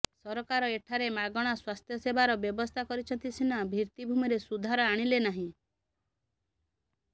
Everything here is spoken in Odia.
ସରକାର ଏଠାରେ ମାଗଣା ସ୍ବାସ୍ଥ୍ୟସେବାର ବ୍ୟବସ୍ଥା କରିଛନ୍ତି ସିନା ଭିତ୍ତିଭୂମିରେ ସୁଧାର ଆଣିଲେ ନାହିଁ